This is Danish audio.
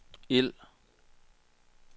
ild